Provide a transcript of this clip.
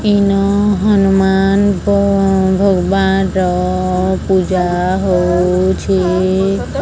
ଇନ ହନୁମାନ ଙ୍କ ଭଗବାନ ର ପୂଜା ହଉଛି।